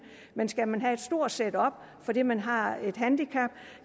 men skal man have et stort setup fordi man har et handicap